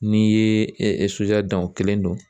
N'i ye soja dan o kelen don.